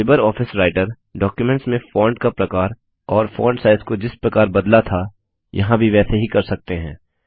LibreOffice Writer documents में font का प्रकार और फॉन्ट साइज़ को जिस प्रकार बदला था यहाँ भी वैसे ही कर सकते हैं